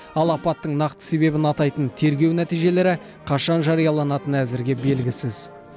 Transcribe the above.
ал апаттың нақты себебін атайтын тергеу нәтижелері қашан жарияланатыны әзірге белгісіз